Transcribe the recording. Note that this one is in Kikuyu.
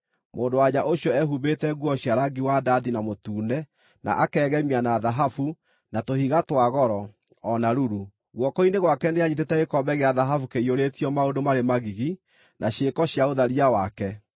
Mũndũ-wa-nja ũcio ehumbĩte nguo cia rangi wa ndathi na mũtune, na akegemia na thahabu, na tũhiga twa goro, o na ruru. Guoko-inĩ gwake nĩanyiitĩte gĩkombe gĩa thahabu kĩiyũrĩtio maũndũ marĩ magigi, na ciĩko cia ũtharia wake.